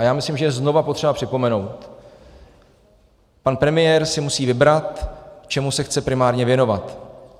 A já myslím, že je znova potřeba připomenout - pan premiér si musí vybrat, čemu se chce primárně věnovat.